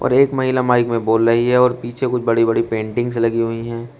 एक महिला माइक में बोल रही है और पीछे कुछ बड़ी बड़ी पेंटिंग्स लगी हुई है।